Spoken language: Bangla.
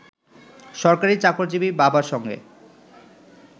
সরকারি চাকরিজীবী বাবার সঙ্গে